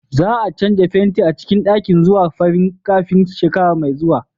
Za a canza fenti a cikin ɗakin zuwa farin kafin shekara mai zuwa.